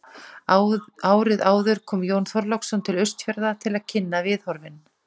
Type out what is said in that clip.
Árið áður kom Jón Þorláksson til Austfjarða til að kynna viðhorfin.